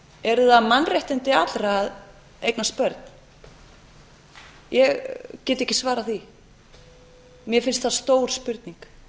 eru það mannréttindi allra að eignast börn ég get ekki ekki svarað því mér finnst það stór spurning